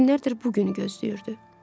Günlərdir bu günü gözləyirdi.